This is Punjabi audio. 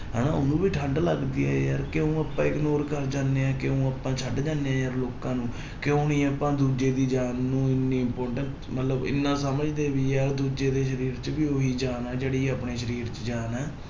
ਹਨਾ ਉਹਨੂੰ ਵੀ ਠੰਢ ਲੱਗਦੀ ਹੈ ਯਾਰ ਕਿਉਂ ਆਪਾਂ ignore ਕਰ ਜਾਂਦੇ ਹਾਂ ਕਿਉਂ ਆਪਾਂ ਛੱਡ ਜਾਂਦੇ ਹਾਂ ਯਾਰ ਲੋਕਾਂ ਨੂੰ, ਕਿਉਂ ਨੀ ਆਪਾਂ ਦੂਜੇ ਦੀ ਜਾਨ ਨੂੰ ਇੰਨੀ importance ਮਤਲਬ ਇੰਨਾ ਸਮਝਦੇ ਨੀ ਯਾਰ ਦੂਜੇ ਦੇ ਸਰੀਰ ਚ ਵੀ ਉਹੀ ਜਾਨ ਹੈ ਜਿਹੜੀ ਆਪਣੇ ਸਰੀਰ ਚ ਜਾਨ ਹੈ।